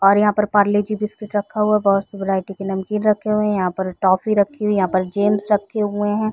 और यहाँ पर पार्ले-जी बिस्किट रखा हुआ है बहुत से वेरायटीज के नमकीन रखी हुए है यहाँ पर टॉफी रखी हुई है यहाँ पे जेम्स रखे हुए है।